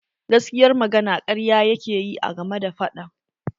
Gaskiyar magana karya yakeyi a game da fadan.